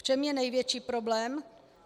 V čem je největší problém?